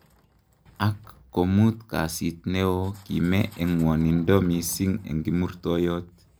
"Ak komut kasit ne o,kime eng ng'wanindo mising eng kimurtoiyot.